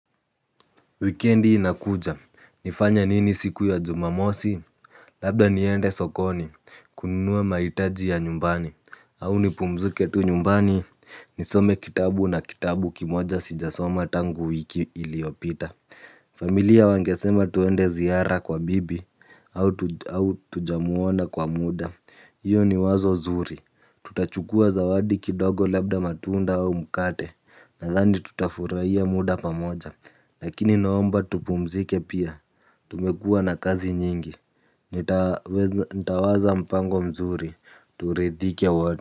Wikendi inakuja. Nifanye nini siku ya jumamosi? Labda niende sokoni. Kununua maitaji ya nyumbani. Au nipumzike tu nyumbani. Nisome kitabu na kitabu kimoja sijasoma tangu wiki iliopita. Familia wangesema tuende ziara kwa bibi, au au tujamuona kwa muda. Iyo ni wazo zuri. Tutachukua zawadi kidogo labda, matunda au mkate. Nathani tutafuraia muda pamoja. Lakini naomba tupumzike pia. Tumekua na kazi nyingi. Nitawaza mpango mzuri. Turidhike wot.